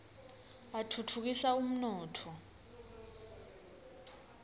atfutfukisa umnotfo